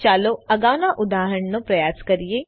ચાલો અગાઉના ઉદાહરણનો પ્રયાસ કરીએ